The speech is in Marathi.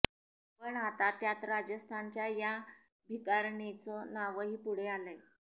पण आता त्यात राजस्थानच्या या भिकारिणीचं नावही पुढे आलंय